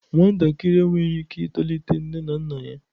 Nwatakịrị enweghị ike itolite nne na nna ya.